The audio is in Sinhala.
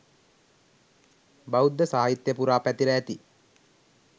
බෞද්ධ සාහිත්‍යය පුරා පැතිර ඇති